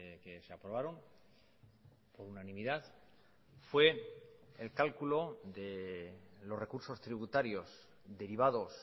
que se aprobaron por unanimidad fue el cálculo de los recursos tributarios derivados